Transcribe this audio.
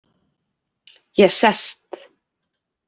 Ég sest.